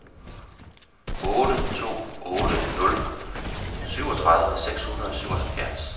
otte to otte nul syvogtredive seks hundrede og syvoghalvfjerds